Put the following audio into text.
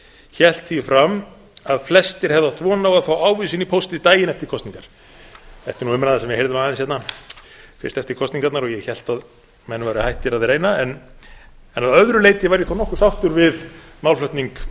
hélt því fram að flestir hefðu átt von á að fá ávísun í pósti daginn eftir kosningar þetta er nú umræða sem við heyrðum aðeins hérna fyrst eftir kosningarnar og ég hélt að menn væru hættir að reyna en að öðru leyti var ég þó nokkuð sáttur við málflutning